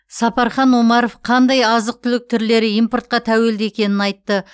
сапархан омаров қандай азық түлік түрлері импортқа тәуелді екенін айтты